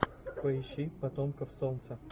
поищи потомков солнца